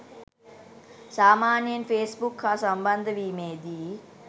සාමාන්‍යයෙන් ෆේස්බුක් හා සම්බන්ධ වීමේදී